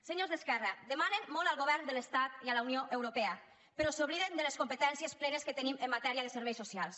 senyors d’esquerra demanen molt al govern de l’estat i a la unió europea però s’obliden de les competències plenes que tenim en matèria de serveis socials